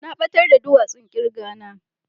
Na batar da duwasun kirga na.